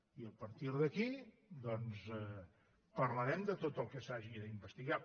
i a partir d’aquí parlarem de tot el que s’hagi d’investigar